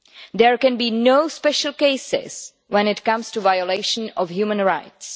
There can be no special cases when it comes to violation of human rights.